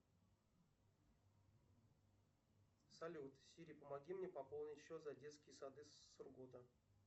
салют сири помоги мне пополнить счет за детские сады сургута